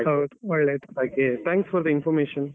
ಹೌದ್ ಒಳ್ಳೇದ್ thanks for the information.